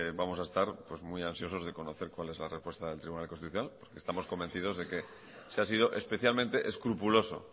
vamos a estar muy ansiosos por conocer cuál es la respuesta del tribunal constitucional porque estamos convencidos de que se ha sido especialmente escrupuloso